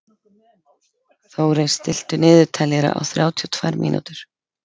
Þórey, stilltu niðurteljara á þrjátíu og tvær mínútur.